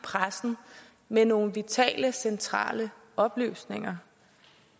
pressen med nogle vitale og centrale oplysninger